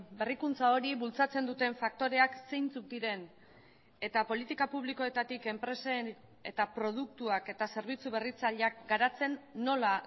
berrikuntza hori bultzatzen duten faktoreak zeintzuk diren eta politika publikoetatik enpresen eta produktuak eta zerbitzu berritzaileak garatzen nola